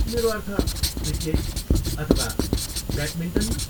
मेरो अर्थ, क्रिकेट अथवा ब्याटमिन्टनमा।